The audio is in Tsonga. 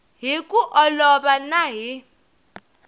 hi ku olova na hi